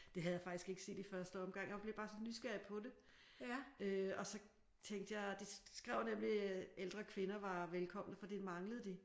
Det havde jeg faktisk ikke set i første omgang. Jeg blev bare så nysgerrig på det. Øh og så tænkte jeg de skrev nemlig at ældre kvinder var velkomne for det manglede de